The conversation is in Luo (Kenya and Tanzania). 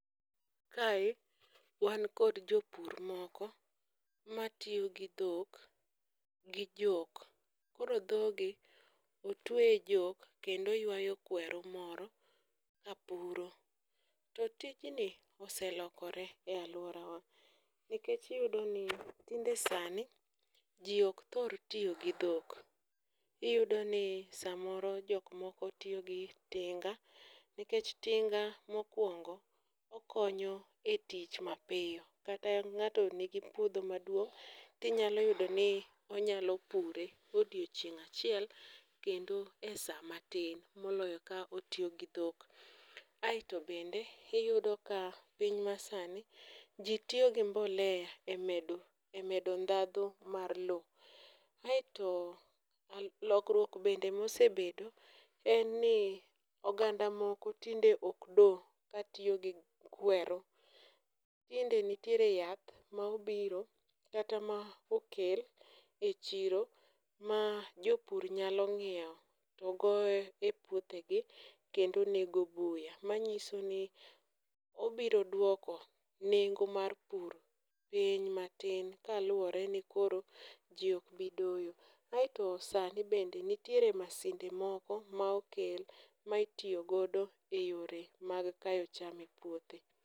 Kae wan kod jopur moko matiyo gi dhok gi jok, koro dhogi otwe e jok kendo ywayo kweru moro kapuro. To tijni oselokore e alworawa, nikech iyudoni tinde sani ji ok thor tiyo gi dhok, iyudoni samoro jok moko tiyo gi tinga nikech tinga mokwongo okonyo e tich mapiyo, kata ng'ato nigi puodho maduong' tinyalo yudoni onyalo pure odiochieng' achiel kendo e sa matin moloyo ka otiyo gi dhok. Aeto bende iyuo ka piny masani, ji tiyo gi mbolea e medo ndhadhu mar lowo, aeto lokruok bende mosebedo en ni oganda moko tinde ok do katiyo gi kweru, tinde nitiere yath ma obiro kata ma okel e chiro ma jopur nyalo ng'iewo togoyo e puothegi kendo nego buya, manyiso ni obiro dwoko nengo mar pur piny matin kaluwore ni koroji ok bi doyo, aeto sani bende nitiere masinde moko ma okel ma itiyo godo e yore mag kayo cham e puothe.